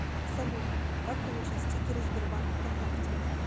салют как получить стикеры сбербанк вконтакте